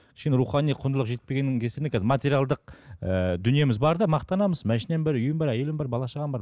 кішкене рухани құндылық жетпегеннің кесірінен материалдық ыыы дүниеміз бар да мақтанамыз машинам бар үйім бар әйелім бар бала шағам бар